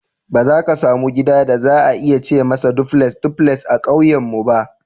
Ba za ka samu gida da za a iya ce masa Debules (duplex) a ƙauyenmu ba.